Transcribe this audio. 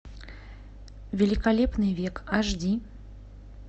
великолепный век аш ди